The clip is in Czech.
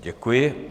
Děkuji.